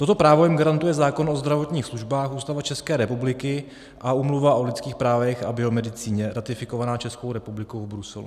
Toto právo jim garantuje zákon o zdravotních službách, Ústava České republiky a Úmluva o lidských právech a biomedicíně, ratifikovaná Českou republikou v Bruselu.